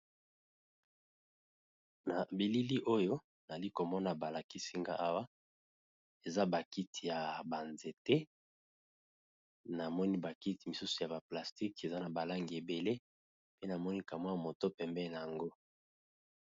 Na bilili oyo nazalikomona komona balakisi ngai eza ba kiti ya banzete namoni pe na nakiti ya plastique eza na balangi ebele pe ma moto pembeni nayango.